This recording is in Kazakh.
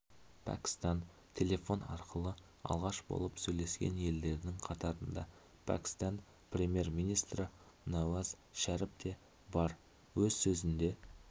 пәкістан телефон арқылы алғаш болып сөйлескен елдердің қатарында пәкістан премьер-министрі науаз шәріп те бар өз сөзінде